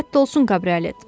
Rədd olsun kabriolet!